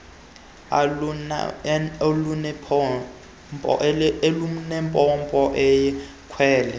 lwegrabile olunempompo eyakhelwe